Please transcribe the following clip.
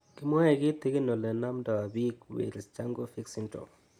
Kimwae kitigin ole namdoi piik Wells Jankovic syndrome